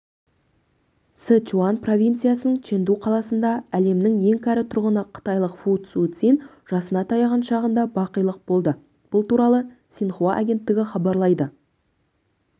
сычуань провинциясының чэнду қаласында әлемнің ең кәрі тұрғыны қытайлық фу суцин жасына таяған шағында бақилық болды бұл туралы синьхуа агенттігі хабарлайды